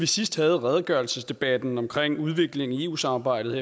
sidst havde redegørelsesdebatten om udviklingen i eu samarbejdet